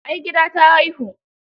Ai gida ta haihu.